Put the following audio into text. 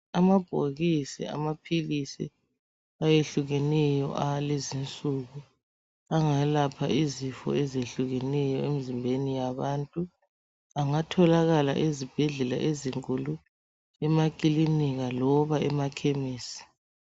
Amabhokisi amaphilisi ayehlukenayo alezinsuku angalapha izifo ezehlukeneyo emzimbeni yabantu, angatholakala ezibhedlela ezinkulu, emakilinika loba emakhemisi.